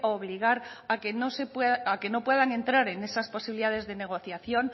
obligar a que no puedan entrar en esas posibilidades de negociación